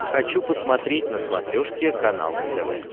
хочу посмотреть на смотрешке канал нтв